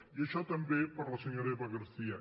i això també per a la senyora eva garcía